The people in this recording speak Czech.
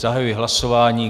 Zahajuji hlasování.